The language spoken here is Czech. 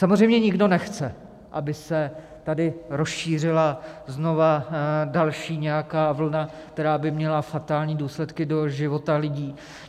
Samozřejmě nikdo nechce, aby se tady rozšířila znova další nějaká vlna, která by měla fatální důsledky do života lidí.